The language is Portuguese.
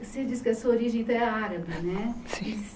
Você diz que a sua origem é árabe, né? Sim